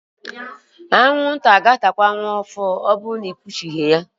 Anwụnta ga-atakwa nwa ọhụụ gị ma ọbụrụ na ikpuchighi ya.